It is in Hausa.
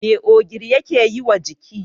Me ogiri yake yiwa jiki?